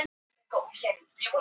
Aðkoma þriðja aðila er bönnuð.